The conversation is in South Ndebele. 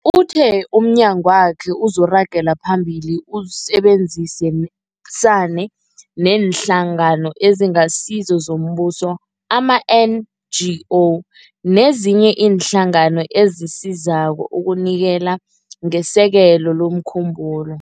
Uthe umnyagwakhe uzoragela phambili usebenzisane neeNhlangano eziNgasizo zoMbuso, ama-NGO, nezinye iinhlangano ezisizako ukunikela ngesekelo lomkhumbulo.